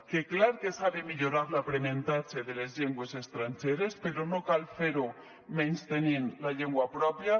que clar que s’ha de millorar l’aprenentatge de les llengües estrangeres però no cal fer ho menystenint la llengua pròpia